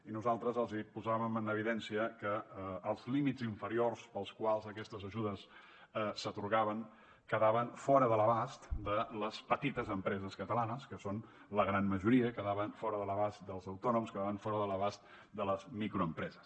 i nosaltres els posàvem en evidència que els límits inferiors pels quals aquestes ajudes s’atorgaven quedaven fora de l’abast de les petites empreses catalanes que són la gran majoria i quedaven fora de l’abast dels autònoms quedaven fora de l’abast de les microempreses